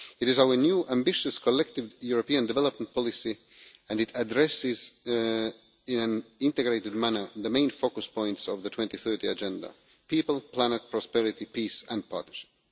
It is our new ambitious collective European development policy, and it addresses in an integrated manner the main focus points of the 2030 Agenda people, planet, prosperity, peace and partnership.